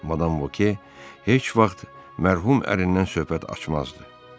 Madam Voque heç vaxt mərhum ərindən söhbət açmazdı.